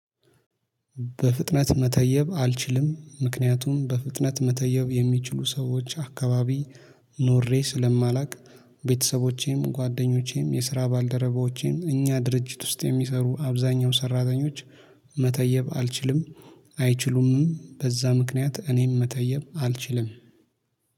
በፍጥነት መተየብ አልችልም ምክንያቱም በፍጥነት መተየብ የሚችሉ ሰዎች አካባቢ ኖሬ ስለማላቅ ቤተሰቦቼም ጓደኞቼም የስራ ባልደረባዎቼም እኛ ድርጅት ውስጥ የሚሰሩ አብዛኛው ሰራተኞች መተየብ አልችልም አይችሉምም በዛ ምክንያት እኔም መተየም አልችልም